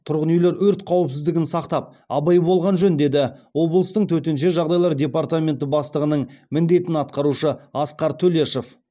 тұрғын үйлер өрт қауіпсіздігін сақтап абай болған жөн деді облыстың төтенше жағдайлар департаменті бастығының міндетін атқарушы асқар төлешов